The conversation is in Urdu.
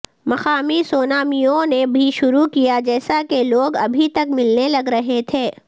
مقامی سونامیوں نے بھی شروع کیا جیسا کہ لوگ ابھی تک ملنے لگ رہے تھے